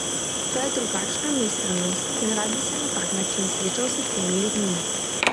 To je drugačna miselnost in rad bi se na tak način srečal s temi ljudmi.